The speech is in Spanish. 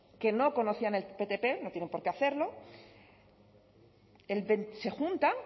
que no conocían el ptp no tienen por qué hacerlo se juntan